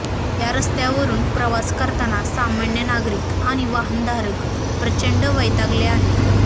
या रस्त्यावरून प्रवास करतांना सामान्य नागरिक आणि वाहनधारक प्रचंड वैतागले आहेत